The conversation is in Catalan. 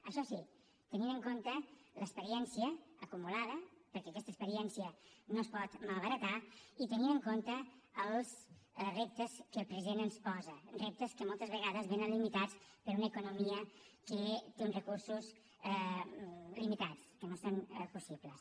això sí tenint en compte l’experiència acumulada perquè aquesta experiència no es pot malbaratar i tenint en compte els reptes que el president ens posa reptes que moltes vegades vénen limitats per una economia que té uns recursos limitats que no són possibles